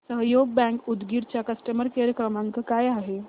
सहयोग बँक उदगीर चा customer care क्रमांक काय आहे